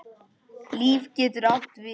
Líf getur átt við